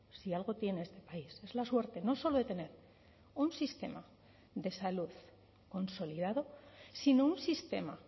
si algo tiene este país es la suerte no solo de tener un sistema de salud consolidado sino un sistema